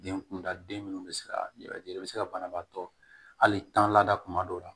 Den kunda den minnu bɛ se ka yɛlɛ bi se ka banabaatɔ hali tan lada kuma dɔw la